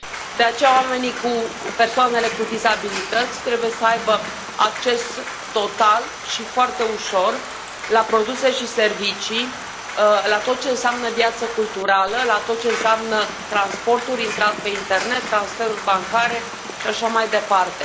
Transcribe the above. De aceea, persoanele cu dizabilități trebuie să aibă acces total și foarte ușor la produse și servicii, la tot ce înseamnă viață culturală, la tot ce înseamnă transporturi, intrat pe internet, transferuri bancare și așa mai departe.